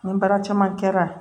Ni baara caman kɛra